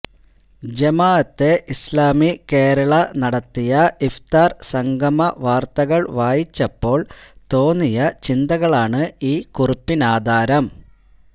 ജമാഅത്തെ ഇസ്ലാമി കേരള നടത്തിയ ഇഫ്ത്വാര് സംഗമ വാര്ത്തകള് വായിച്ചപ്പോള് തോന്നിയ ചിന്തകളാണ് ഈ കുറിപ്പിന്നാധാരം